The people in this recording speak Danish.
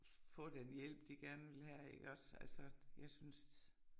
Få den hjælp de gerne vil have iggås altså jeg synes